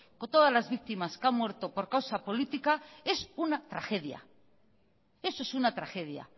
es una tragedia eso es una tragedia